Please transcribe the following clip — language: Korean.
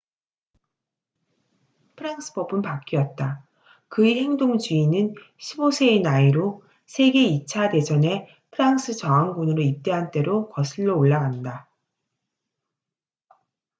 프랑스 법은 바뀌었다 그의 행동주의는 15세의 나이로 세계 2차 대전에 프랑스 저항군으로 입대한 때로 거슬러 올라간다